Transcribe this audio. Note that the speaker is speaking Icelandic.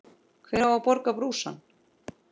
Hver á að borga brúsann?